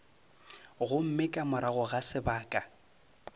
gomme ka morago ga sebaka